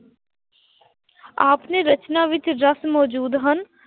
ਆਪ ਨੇ ਰਚਨਾ ਵਿੱਚ ਰਸ ਮੌਜੂਦ ਹਨ।